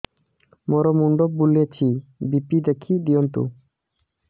ମୋର ମୁଣ୍ଡ ବୁଲେଛି ବି.ପି ଦେଖି ଦିଅନ୍ତୁ